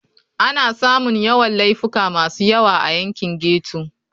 Ana samun Yawan Laifuka masu yawa a yankin ghetto.